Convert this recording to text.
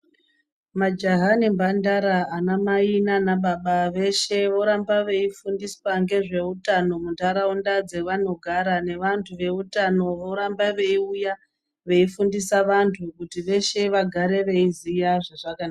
Majaha nembandara, anamai naanababa veshe voramba veifundiswa ngezveutano muntaraunda dzevanogara nevantu veutano voramba veiuya veifundisa vantu kuti veshe vagare veiziye zvazvaka...